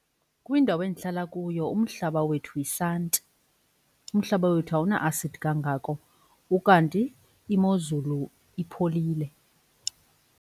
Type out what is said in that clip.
Kwindawo endihlala kuyo umhlaba wethu yisanti, umhlaba wethu awuna-asidi kangako ukanti imozulu ipholile.